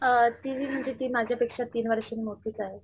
अ तिची म्हणजे ती माझ्या पेक्षा तीन वर्षांनी मोठीच आहे.